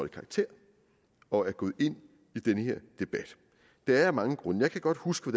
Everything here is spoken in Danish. karakter og er gået ind i den her debat det er jeg af mange grunde jeg kan godt huske